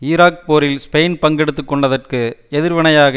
Iraq போரில் Spain பங்கெடுத்துக்கொண்டதற்கு எதிர் வினையாக